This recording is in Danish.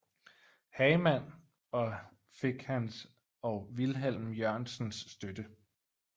Hagemann og fik hans og Vilhelm Jørgensens støtte